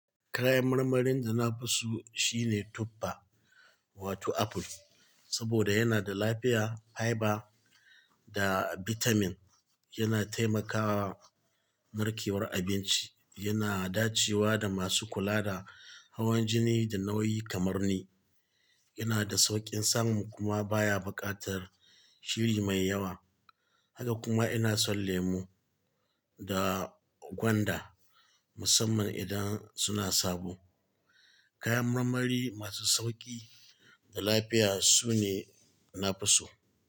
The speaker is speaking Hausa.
Kayan marmarin da na fi so shine tuffa wato apple, saboda yana da lafiya, fiber da vitamin. Yana taimakawa narkewar abinci, yana dacewa da masu kula da hawan jini da nauyi kamar ni. Yana da sauƙin samun kuma baya buƙatar shiri mai yawa. Haka kuma ina son lemu da gwanda musamman idan suna sabo. Kayan marmari masu sauƙi da lafiya sune na fi so.